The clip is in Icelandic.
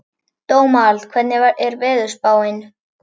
Dómald, hvernig er veðurspáin?